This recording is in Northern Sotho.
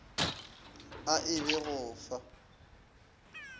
a e be go fa